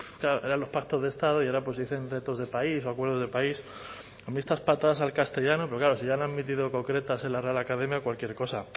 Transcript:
claro eran los pactos de estado y ahora pues dicen retos de país o acuerdos de país a mí estas patadas al castellano pero claro si ya han admitido cocretas en la real academia cualquier cosa